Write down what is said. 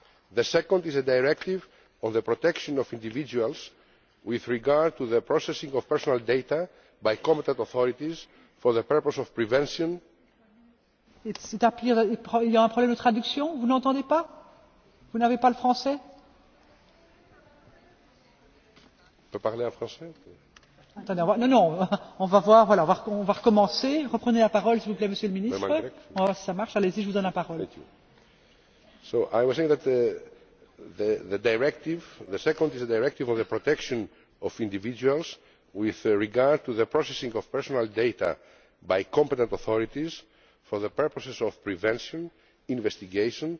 The second is a Directive on the protection of individuals with regard to the processing of personal data by competent authorities for the purposes of the prevention, investigation,